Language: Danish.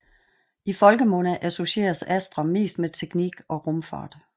I folkemunde associeres Astra mest med teknik og rumfart